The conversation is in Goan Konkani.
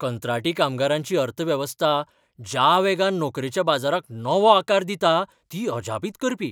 कंत्राटी कामगारांची अर्थवेवस्था ज्या वेगान नोकरेच्या बाजाराक नवो आकार दिता, ती अजापीत करपी!